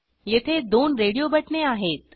येथे दोन रेडिओ बटणे आहेत